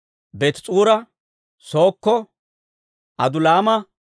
Beetis'uura, Sookko, Adulaama,